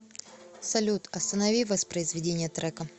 салют останови воспроизведение трека